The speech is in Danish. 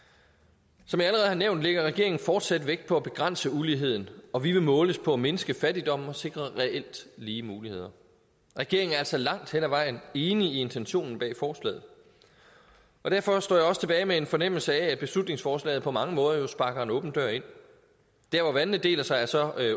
som jeg har nævnt lægger regeringen fortsat vægt på at begrænse uligheden og vi vil måles på at mindske fattigdommen og sikre reelt lige muligheder regeringen er altså langt hen ad vejen enige i intentionen bag forslaget og derfor står jeg også tilbage med en fornemmelse af at beslutningsforslaget på mange måder jo sparker en åben dør ind der hvor vandene deler sig er så